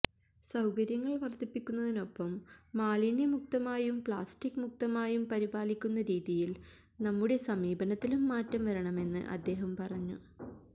സൌകര്യങ്ങൾ വർധിപ്പിക്കുന്നതിനൊപ്പം മാലിന്യമുക്തമായും പ്ലാസ്റ്റിക് മുക്തമായും പരിപാലിക്കുന്ന രീതിയിൽ നമ്മുടെ സമീപനത്തിലും മാറ്റം വരണമെന്ന് അദ്ദേഹം പറഞ്ഞു